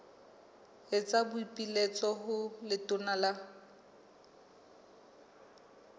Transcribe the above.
etsa boipiletso ho letona la